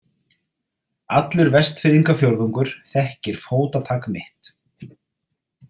Allur Vestfirðingafjórðungur þekkir fótatak mitt.